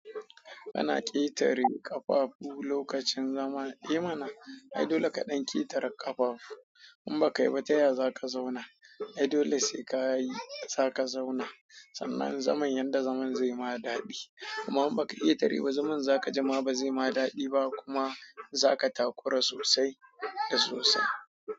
Ana ketare kafafu lokacin zama. Eh mana, ai dole ka ɗan ƙetare ƙafafu in ba ka yi ba taya za ka zauna. Ai dole sai kayi zaka zauna sannan zaman yadda zaman zai ma daɗi. Amma jn baka iya tari ba zaman zakaji ma bazaima dadi ba kuma zaka takura sosai da sosai.